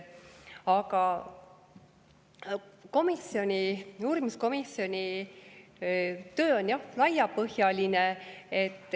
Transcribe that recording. Aga uurimiskomisjoni töö on jah laiapõhjaline.